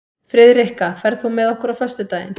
Friðrikka, ferð þú með okkur á föstudaginn?